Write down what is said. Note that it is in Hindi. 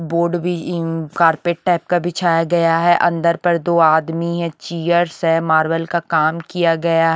बोर्ड भी उम्म कारपेट टाइप का बिछाया गया है अंदर पर दो आदमी हैं चियर्स है मार्बल का काम किया गया --